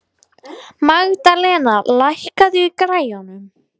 Magðalena, lækkaðu í græjunum.